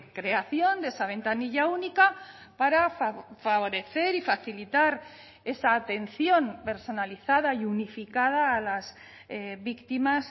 creación de esa ventanilla única para favorecer y facilitar esa atención personalizada y unificada a las víctimas